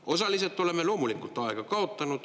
Osaliselt oleme loomulikult aega kaotanud.